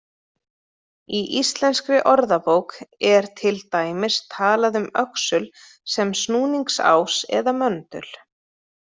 Í Íslenskri orðabók er til dæmis talað um öxul sem snúningsás eða möndul.